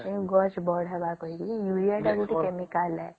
ଗଛ ବଢେଇବା କରୀକିରି ୟୁରିଆ ଟେ ଗୋଟେ chemical ହେ